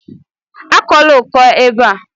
Akọla ọkọ a ébé a!